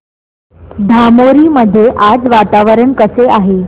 धामोरी मध्ये आज वातावरण कसे आहे